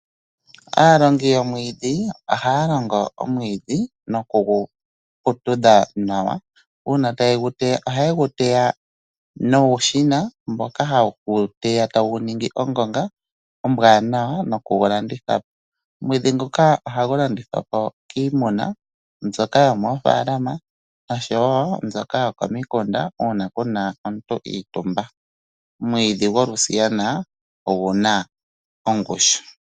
Aalandi yomwidhi ohaya landa omwiidhi nokugu putudha nawa. Uuna taye gu teya ohaye gu teya nuushina mboka haye gu teya taye gu ningi ongonga ombwanawa nokugu landitha. Omwiidhi nguka ohagu landithwa po kiimuna mboka yomofaaalama oshowo mbyoka yokomikunda uuna puna ngoka iitumba. Omwiidhi golusiyna ogu na ongushu.